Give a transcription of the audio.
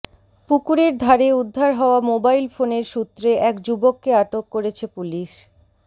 পুকুরের ধারে উদ্ধার হওয়া মোবাইল ফোনের সূত্রে এক যুবককে আটক করেছে পুলিশ